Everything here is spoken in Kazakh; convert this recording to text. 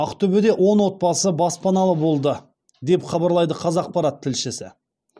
ақтөбеде он отбасы баспаналы болды деп хабарлайды қазақпарат тілшісі